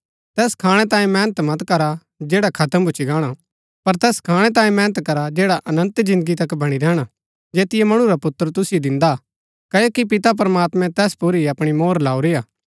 तैस खाणै तांयें मेहनत मत करा जैडा खत्म भूच्ची गाणा पर तैस खाणै तांयें मेहनत करा जैडा अनन्त जिन्दगी तक वणी रैहणा जैतियो मणु रा पुत्र तुसिओ दिन्दा क्ओकि पिता प्रमात्मैं तैस पुर ही अपणी मोहर लाऊरी हा